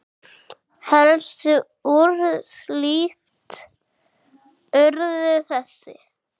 Helstu úrslit urðu þessi